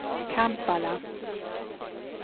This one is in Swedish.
Kampala